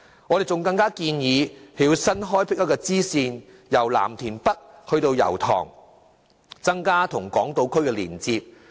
我們還建議新開闢一條支線，由藍田北至油塘，增加與港島區的連接。